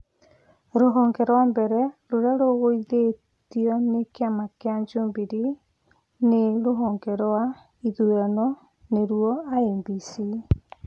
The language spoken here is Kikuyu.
Rũhonge rwa mbere rũrĩa rũgũithĩtio nĩ kĩama kĩa jubilee nĩ rũhonge rwa ithurano nĩrwo IEBC